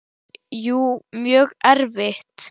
Jú, mjög erfitt.